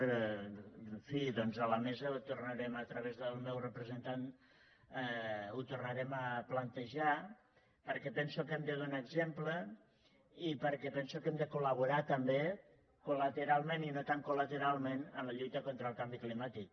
en fi doncs a la mesa ho tornarem a través del meu representant a plantejar perquè penso que hem de donar exemple i perquè penso que hem de col·laborar també collateralment i no tan colel canvi climàtic